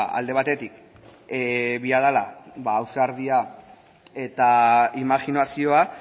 alde batetik behar dela ausardia eta imajinazioa